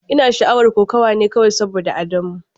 Ina sha'awar kokawa ne kawai saboda Adamu.